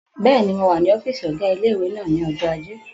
Bẹ́ẹ̀ni, mo wà ní ọ́fìsì ọgá ilé-ìwé náà ní ọjọ́ ajé